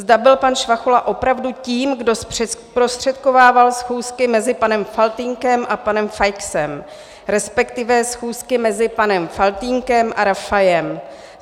Zda byl pan Švachula opravdu tím, kdo zprostředkovával schůzky mezi panem Faltýnkem a pane Feixem, respektive schůzky mezi panem Faltýnkem a Rafajem.